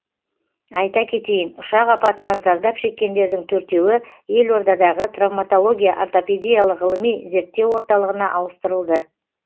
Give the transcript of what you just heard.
айта кетейін ұшақ апатынан зардап шеккендердің төртеуі елордадағы травматология ортопедиялық ғылыми зерттеу орталығына ауыстырылды